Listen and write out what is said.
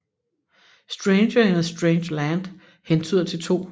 Stranger in a Strange Land hentyder til 2